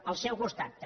al seu costat també